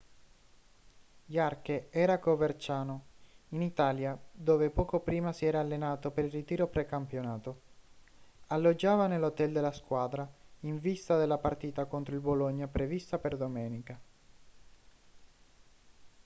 jarque era a coverciano in italia dove poco prima si era allenato per il ritiro precampionato alloggiava nell'hotel della squadra in vista della partita contro il bologna prevista per domenica